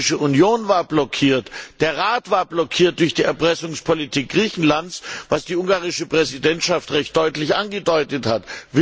Die Europäische Union war blockiert, der Rat war blockiert durch die Erpressungspolitik Griechenlands, was die ungarische Präsidentschaft recht deutlich angesprochen hat.